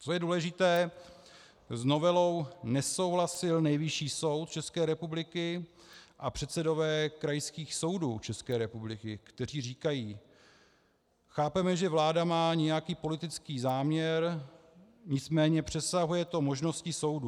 Co je důležité, s novelou nesouhlasil Nejvyšší soud České republiky a předsedové krajských soudů České republiky, kteří říkají: Chápeme, že vláda má nějaký politický záměr, nicméně přesahuje to možnosti soudů.